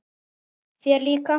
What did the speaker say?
Þér líka?